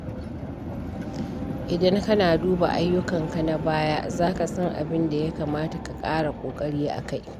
Idan kana duba ayyukanka na baya, za ka san abin da ya kamata ka ƙara ƙoƙari a kai.